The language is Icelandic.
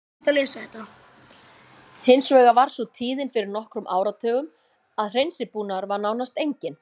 Hins vegar var sú tíðin fyrir nokkrum áratugum að hreinsibúnaður var nánast enginn.